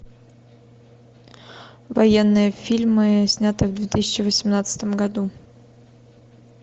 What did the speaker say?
военные фильмы снятые в две тысячи восемнадцатом году